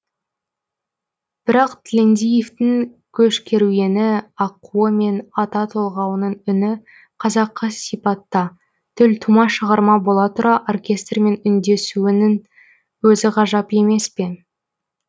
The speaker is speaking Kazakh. бірақ тілендиевтің көш керуені аққуы мен ата толғауының үні қазақы сипатта төлтума шығарма бола тұра оркестрмен үндесуінің өзі ғажап емес пе